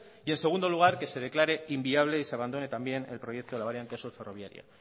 y en segundo lugar que se declare inviable y se abandone también el proyecto de la variante sur ferroviaria